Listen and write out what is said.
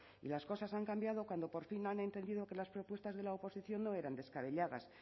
y las cosas han cambiado cuando por fin han entendido que las propuestas de la oposición no eran descabelladas